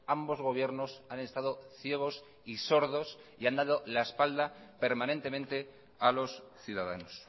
ambos gobiernos han estado ciegos y sordos y han dado la espalda permanentemente a los ciudadanos